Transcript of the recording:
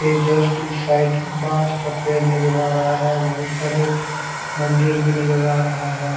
ये जस्ट इस साइड बॉस का पेड़ भी नजर आ रहा हैं वही पर मंदिर भी नजर आ रहा हैं।